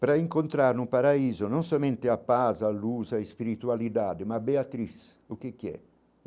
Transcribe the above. Para encontrar no paraíso, não somente a paz, a luz, a espiritualidade, mas a, o que que é?